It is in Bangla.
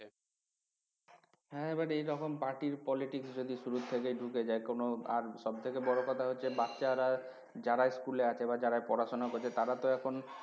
হ্যাঁ এবার এরকম party র politics যদি শুরু থেকে ঢুকে যায় কোনো আর সব থেকে বড় কথা হচ্ছে বাচ্চারা যারা school এ আছে বা যারা পড়াশোনা করছে তারা তো এখন